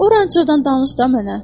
Orançoda danış da mənə.